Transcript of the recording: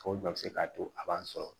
O bɛɛ bɛ se k'a to a b'an sɔrɔ